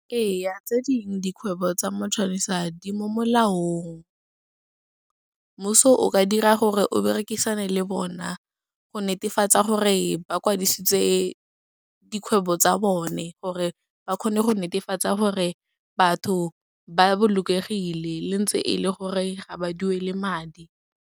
Ee, tse dingwe dikgwebo tsa matšhonisa di mo molaong. Mmuso o ka dira gore o berekisane le bona go netefatsa gore ba kwadisitse dikgwebo tsa bone gore ba kgone go netefatsa gore batho ba bolokegile, le ntse e le gore ga ba duele madi.